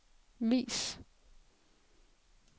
vis